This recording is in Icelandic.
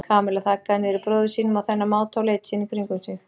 Kamilla þaggaði niður í bróður sínum á þennan máta og leit síðan í kringum sig.